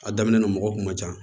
A daminɛ na mɔgɔ kun ma ca